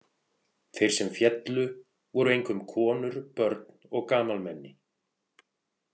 Þeir sem féllu voru einkum konur, börn og gamalmenni.